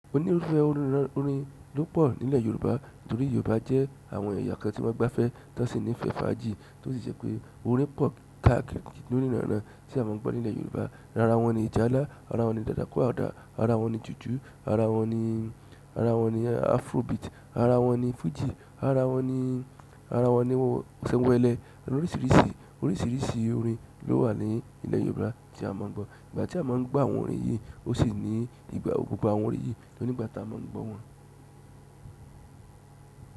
Ó ní irúfẹ́ orin ló pọ̀ nílẹ̀ Yorùbá torí Yorùbá jẹ́ àwọn ẹ̀yà kan tí wọ́n gbáfẹ́ tán sí ní ìfẹ́ fàájì tó sì jẹ́ pé orin pọ̀ káàkiri ní oníranran tí a máa ń gbọ́ nílẹ̀ Yorùbá. Ara wọn ni ìjálá, ara wọn ni dadakúàdà, ara wọn ni jùjú, ara wọn ni, ara wọn ni afrobeat, ara wọn ni fújì, ara wọn ni, ara wọn ni ọ̀sẹ̀wẹ̀lẹ̀. Oríṣiríṣi oríṣiríṣi orin ló wà ní ilẹ̀ Yorùbá tí a máa ń gbọ́. Ìgbà tí a máa ń gbọ́ àwọn orin yìí ó sì ní ìgbà ogún gbà àwọn orin yìí ló ní ìgbà tí a máa ń gbọ́ wọn.